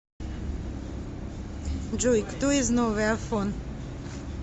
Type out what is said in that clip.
джой кто из новый афон